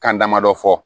Kan damadɔ fɔ